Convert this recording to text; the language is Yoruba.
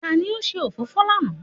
Ta ni ó ṣe òfófó lánàá?